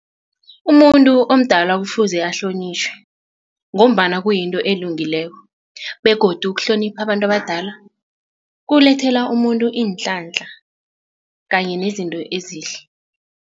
Umuntu omdala kufuze ahlonitjhwe ngombana kuyinto elungileko begodu ukuhlonipha abantu abadala kukulethela umuntu iinhlanhla kanye nezinto ezihle.